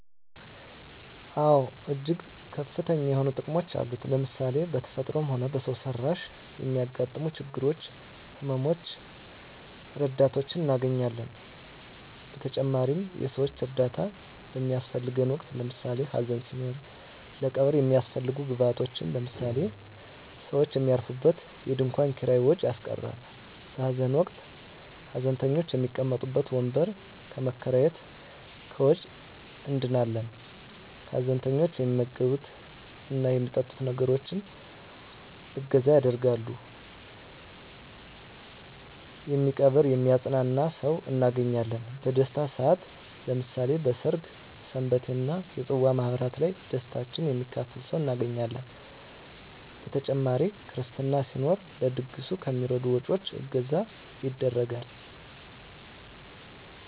አወ እጅግ ከፍተኛ የሆኑ ጥቅሞች አሉት ለምሳሌ ሰው በተፈጥሮም ሆነ በሰው ሰራሽ ለሚያገጥመው ችግሮች ህመመ ሞች ረዳቶችን እናገኛለን በተጨማሪም የሰወች እርዳታ በሚያሰፈልገን ወቅት ለምሳሌ ሀዘን ሲኖር ለቀብር የሚያሰፈልጉ ግብአቶች ለምሳሌ ሰውች የሚያርፉበት የድንኮን ኪራይ ወጭ ያስቀራል በሀዘን ወቅት ሀዘንተኞች የሚቀመጡበት ወንበር ከመከራየት ከወጭ እንድናለን ሀዘንተኞች የሚመገብት እና የሚጠጡትን ነገሮች እገዛ ያደርጋሉ የሚቀብር የሚያጵናና ሰውን እናገኛለን በደስታም ሰአት ለምሳሌ በሰርግ ሰንበቴ እና የፅዋ ማህበራት ላይ ደስታችን የሚካፈል ሰው እናገኛለን በተጨማሪ ክርስትና ሲኖር ለድግሱ ከሚደረጉ ወጭወች እገዛ ይደረጋል።